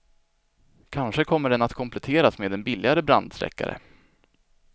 Kanske kommer den att kompletteras med en billigare brandsläckare.